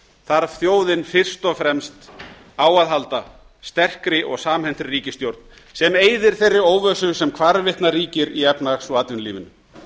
þarf þjóðin fyrst og fremst á að halda sterkri og samhentri ríkisstjórn sem eyðir þeirri óvissu sem hvarvetna ríkir í efnahags og atvinnulífinu